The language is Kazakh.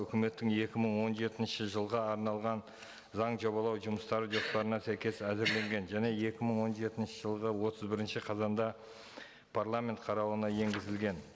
үкіметтің екі мың он жетінші жылға арналған заң жобалау жұмыстары жоспарына сәйкес әзірленген және екі мың он жетінші жылғы отыз бірінші қазанда парламент қарауына енгізілген